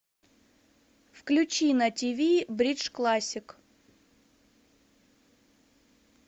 включи на тв бридж классик